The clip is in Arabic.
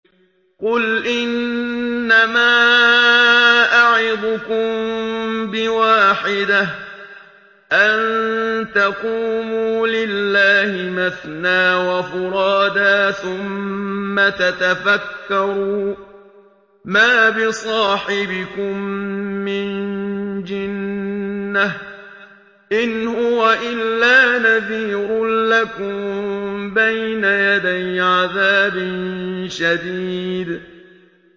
۞ قُلْ إِنَّمَا أَعِظُكُم بِوَاحِدَةٍ ۖ أَن تَقُومُوا لِلَّهِ مَثْنَىٰ وَفُرَادَىٰ ثُمَّ تَتَفَكَّرُوا ۚ مَا بِصَاحِبِكُم مِّن جِنَّةٍ ۚ إِنْ هُوَ إِلَّا نَذِيرٌ لَّكُم بَيْنَ يَدَيْ عَذَابٍ شَدِيدٍ